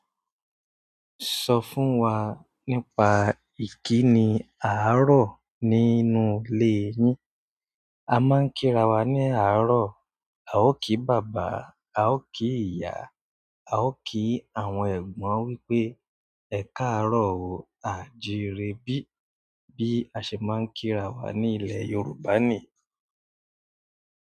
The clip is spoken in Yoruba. Sọ fún wa nípa ìkíni àárọ̀ nínú ile yin. A máa ń kírawà ní àárọ̀. A ò kí bàbá, a ò kí ìyá, a ò kí àwọn ẹ̀gbọ́n wípé "Ẹ káàárọ̀ o, àjìírèbí" bí a ṣe máa ń kírawà ní ilẹ̀ Yorùbá niyii.